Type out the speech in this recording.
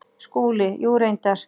SKÚLI: Jú, reyndar.